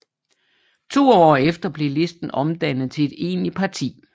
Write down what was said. To år efter blev listen omdannet til et egentligt parti